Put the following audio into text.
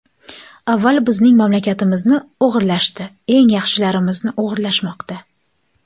Avval bizning mamlakatimizni o‘g‘irlashdi, eng yaxshilarimizni o‘g‘irlashmoqda.